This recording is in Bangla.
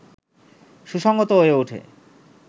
সুসংহত হয়ে ওঠে